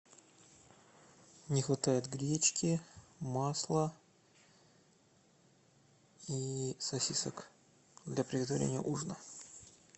не хватает гречки масла и сосисок для приготовления ужина